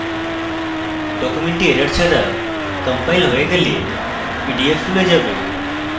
document ত্রুটি ছাড়া compiled হয়ে গেলে পিডিএফ খুলে যাবে